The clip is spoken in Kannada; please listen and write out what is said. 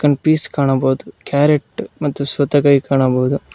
ಕನ್ ಪಿಸ್ ಕಾಣಬೋದು ಕ್ಯಾರೆಟ್ ಮತ್ತು ಸೌತೇಕಾಯಿ ಕಾಣಬಹುದು.